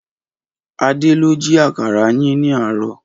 Adé ló ji àkàrà yín ní àárọ̀